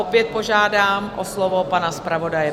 Opět požádám o slovo pana zpravodaje.